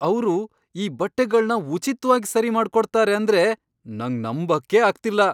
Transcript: ಅವ್ರು ಈ ಬಟ್ಟೆಗಳ್ನ ಉಚಿತ್ವಾಗ್ ಸರಿ ಮಾಡ್ಕೊಡ್ತಾರೆ ಅಂದ್ರೆ ನಂಗ್ ನಂಬಕ್ಕೇ ಆಗ್ತಿಲ್ಲ!